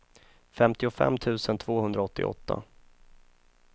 femtiofem tusen tvåhundraåttioåtta